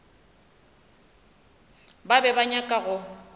ba be ba nyaka go